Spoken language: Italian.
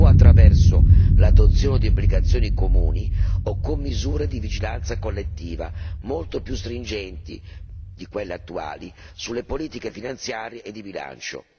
attraverso l'adozione di obbligazioni comuni oppure con misure di vigilanza collettiva molto più stringenti di quelle attuali sulle politiche finanziarie e di bilancio.